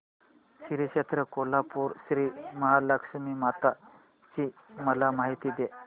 श्री क्षेत्र कोल्हापूर श्रीमहालक्ष्मी माता ची मला माहिती दे